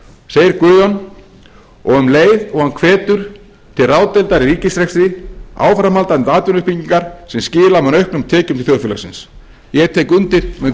segir guðjón um leið og hann hvetur til ráðdeildar í ríkisrekstri áframhaldandi atvinnuuppbyggingar sem skila mun auknum tekjum til þjóðfélagsins ég tek undir með